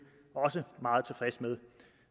meget tilfredse med